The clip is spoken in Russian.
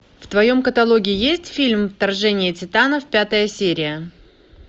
в твоем каталоге есть фильм вторжение титанов пятая серия